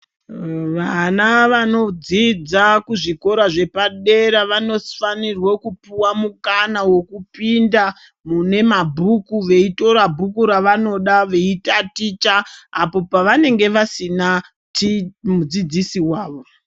Vana vano dzidza kuzvikora zvepa dera vano fanirwe kupuwa mukana weku pinda mune mabhuku vei tora bhuku rava noda vei taticha apo pa vanenge vasina mudzidzisi wavo.